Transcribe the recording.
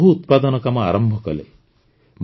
ସେ ମହୁ ଉତ୍ପାଦନ କାମ ଆରମ୍ଭ କଲେ